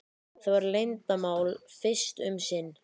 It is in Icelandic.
Það verður leyndarmál fyrst um sinn.